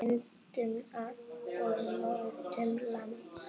Myndun og mótun lands